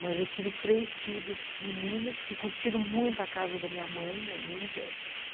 Mas eu tive três filhos meninos que curtiram muito a casa da minha mãe ainda.